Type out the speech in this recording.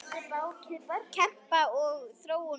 Kempa og Þróun kljást.